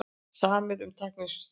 Samið um tækniþjónustu